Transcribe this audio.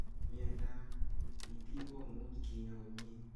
Miondap ap itikkomuch kinyaa komnye